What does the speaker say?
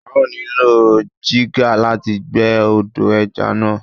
A ó nílò jígà láti gbẹ́ odò ẹja náà.